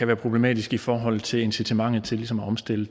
være problematisk i forhold til incitamentet til ligesom at omstille